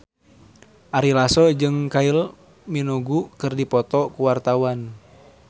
Ari Lasso jeung Kylie Minogue keur dipoto ku wartawan